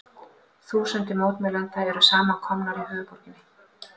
Þúsundir mótmælenda eru samankomnar í höfuðborginni